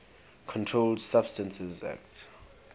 controlled substances acte